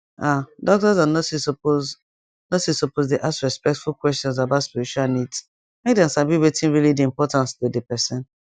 ah doctors and nurses suppose nurses suppose dey ask respectful questions about spiritual needs make dem sabi wetin really dey important to dey person